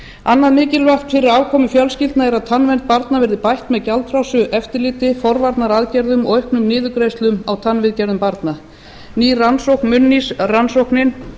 annað mikilvæga fyrir afkomu fjölskyldna er að tannvernd barna verði bætt með gjaldfrjálsu eftirlit forvarnaaðgerðum og auknum niðurgreiðslum á tannviðgerðum barna ný rannsókn munnís rannsóknin